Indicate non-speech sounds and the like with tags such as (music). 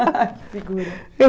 (laughs) Ah, que figura.